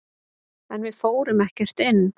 En við fórum ekkert inn.